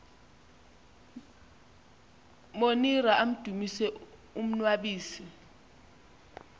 monira amdumise umnnwabisi